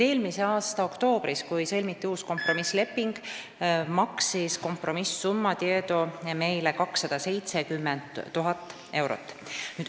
Eelmise aasta oktoobris, kui sõlmiti uus kompromissleping, maksis Tieto meile kompromiss-summana 270 000 eurot.